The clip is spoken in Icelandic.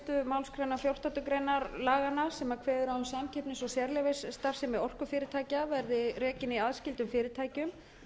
fyrstu málsgrein fjórtándu greinar laganna sem kveðið er á um samkeppnis og sérleyfisstarfsemi orkufyrirtækja verði rekin í aðskildum fyrirtækjum